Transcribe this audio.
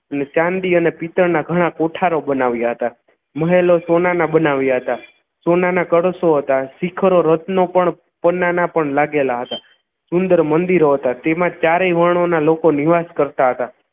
અને ચાંદી અને પિત્તળના ઘણા કોઠારો બનાવ્યા હતા મહેલો સોનાના બનાવ્યા હતા સોનાના કળશો હતા શિખરો રત્નો પણ સોનાના પણ લાગેલા હતા સુંદર મંદિરો હતા તેમાં ચારેય વર્ણોના લોકો નિવાસ કરતા હતા